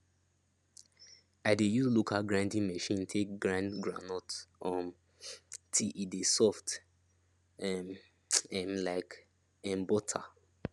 i dey use local grinding machine take grind groundnut um till e de soft um um like um butter